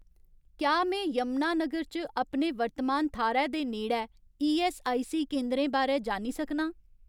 क्या में यमुनानगर च अपने वर्तमान थाह्‌रै दे नेड़ै ईऐस्सआईसी केंदरें बारै जानी सकनां